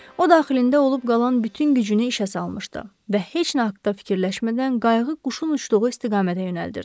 O daxilində olub qalan bütün gücünü işə salmışdı və heç nə haqda fikirləşmədən qayığı quşun uçduğu istiqamətə yönəldirdi.